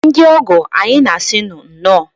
Ndị ọgọ, anyị na-asị unu nnọọ.